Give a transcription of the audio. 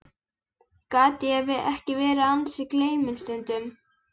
Gat ég ekki verið ansi gleyminn stundum?